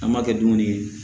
An b'a kɛ dumuni ye